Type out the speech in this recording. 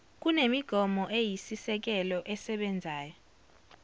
kunemigomo eyisisekelo esebenzayo